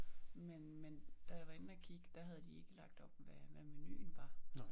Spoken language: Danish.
Men men da jeg var inde og kig der havde de ikke lagt op hvad menuen var